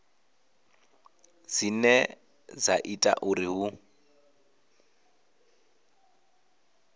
dzine dza ita uri hu